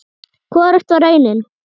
Hvorugt var raunin.